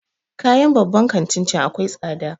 Kayan babban kantin can akwai tsada